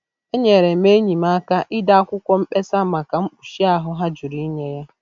Enyere m enyi m aka ide akwụkwọ mkpesa maka mkpuchi ahụ ha jụrụ inye ya.